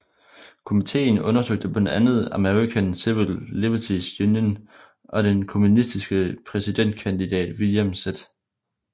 Komitéen undersøgte blandt andet American Civil Liberties Union og den kommunistiske præsidentkandidat William Z